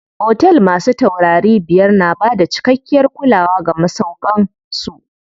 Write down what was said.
Otel masu taurari biyar na bada cikakkiyar kulawa ga masauƙan su.